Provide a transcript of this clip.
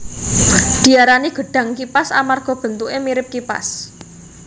Diarani gedhang kipas amarga bentuké mirip kipas